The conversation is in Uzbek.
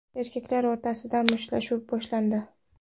Erkaklar o‘rtasida mushtlashuv boshlandi.